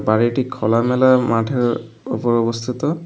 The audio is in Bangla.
বাড়িটি খোলামেলা মাঠের উপর অবস্থিত।